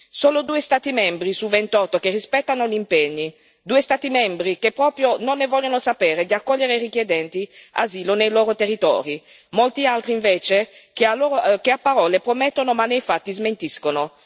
Solo due Stati membri su 28 che rispettano gli impegni, due Stati membri che proprio non ne vogliono sapere di accogliere i richiedenti asilo nei loro territori, molti altri invece che a parole promettono ma nei fatti smentiscono.